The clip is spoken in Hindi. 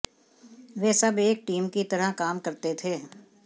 वे सब एक टीम की तरह काम करते थे